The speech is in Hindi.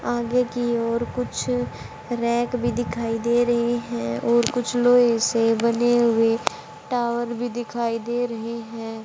आगे की और कुछ रैक भी दिखाई दे रहे हैं और कुछ लोहे से बने हुए टावर भी दिखाई दे रहे हैं।